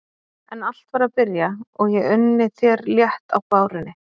En allt var að byrja og ég unni þér létt á bárunni.